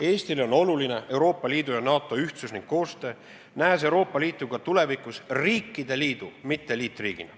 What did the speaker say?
Eestile on oluline Euroopa Liidu ja NATO ühtsus ning koostöö, me näeme Euroopa Liitu ka tulevikus riikide liidu, mitte liitriigina.